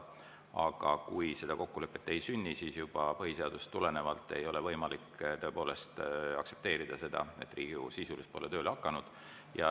Aga kui seda kokkulepet ei sünni, siis juba põhiseadusest tulenevalt ei ole võimalik aktsepteerida seda, et Riigikogu pole sisuliselt tööle hakanud.